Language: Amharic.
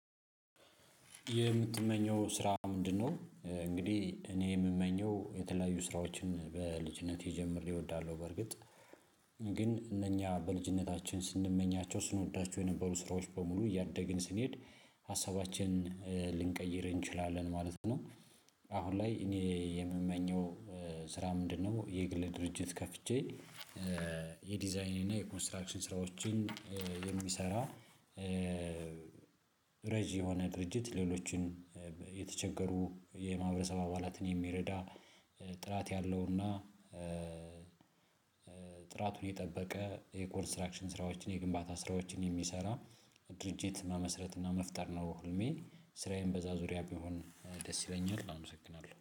የምትመኘው ስራ ምንድነው? እንግዲህ እኔ የምመኘው የተለያዩ ስራዎችን በልጅነቴ ጀምሬ እወዳለሁ። በርግጥ ግን እነኛ በልጅነታችን ስንመኛቸው ስንወዳቸው የነበሩ ስራዎች በሙሉ እያደግን ስንሄድ ሀሳባችን ልንቀይር እንችላለን ማለት ነው። አሁን ላይ እኔ የምመኘው ስራ ምንድነው? የግል ድርጅት ከፍቼ የዲዛይኔና እና የኮንስትራክሽን ስራዎችን የሚሰራ። ረጅ የሆነ ድርጅት ሌሎችን የተቸገሩ የማህበሰብ አባላትን የሚረዳ። ጥራት ያለውና ጥራቱን የጠበቀ የኮንስትራክሽን ስራዎችን የግንባታ ስራዎችን የሚሰራ ድርጅት መመስረት እና መፍጠር ነው ህልሜ። ስራዬን በዛ ዙሪያ ቢሆን ደስ ይለኛል አመሰግናለሁ